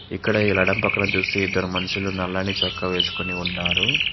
ఇక్కడ ఇలా ఎడమ పక్కన చూసి ఇద్దరు మనుషులు నల్లని చొక్కా వేసుకొని ఉన్నారు.